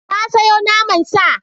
Na sayo naman sa.